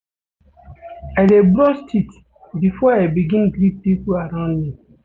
I dey brush teeth before I begin greet pipo around me.